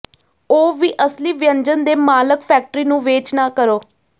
ਉਹ ਵੀ ਅਸਲੀ ਵਿਅੰਜਨ ਦੇ ਮਾਲਕ ਫੈਕਟਰੀ ਨੂੰ ਵੇਚ ਨਾ ਕਰੋ